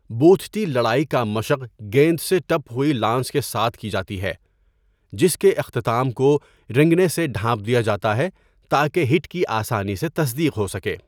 بوتھٹی لڑائی کا مشق گیند سے ٹپ ہوئی لانس کے ساتھ کی جاتی ہے، جس کے اختتام کو رنگنے سے ڈھانپ دیا جاتا ہے تاکہ ہٹ کی آسانی سے تصدیق ہو سکے۔